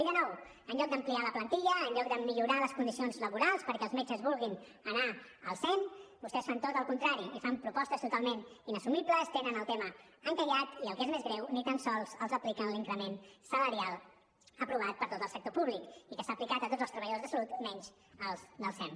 i de nou en lloc d’ampliar la plantilla en lloc de millorar les condicions laborals perquè els metges vulguin anar al sem vostès fan tot el contrari i fan propostes totalment inassumibles tenen el tema encallat i el que és més greu ni tan sols els apliquen l’increment salarial aprovat per a tot el sector públic i que s’ha aplicat a tots els treballadors de salut menys als del sem